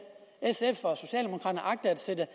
at sætte